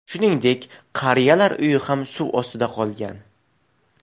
Shuningdek, qariyalar uyi ham suv ostida qolgan.